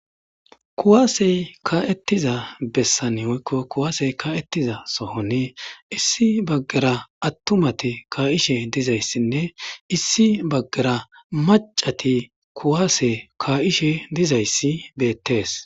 Kuwase ka'etiza besan woyko kuwase ka'etiza sohon issi bagara atumati kaishe dizaysine issi bagara mac'c'ati kuwase ka'ishe dizaysi beets.